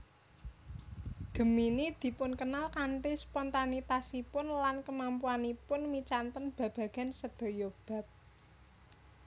Gemini dipunkenal kanthi spontanitasipun lan kemampuanipun micanten babagan sedaya bab